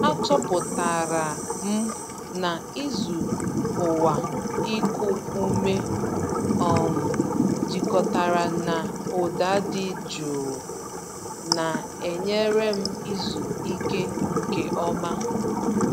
Achọpụtara m na ịzụ ụkwụ iku ume um jikọtara na ụda dị jụụ na-enyere m izu ike nke ọma.